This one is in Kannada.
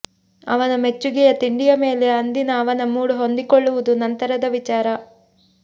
ಅವನ ಮೆಚ್ಚುಗೆಯ ತಿಂಡಿಯ ಮೇಲೆ ಅಂದಿನ ಅವನ ಮೂಡ್ ಹೊಂದಿಕೊಳ್ಳುವುದು ನಂತರದ ವಿಚಾರ